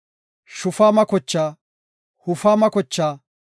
Shufaama kochaa, Hufama kochaa,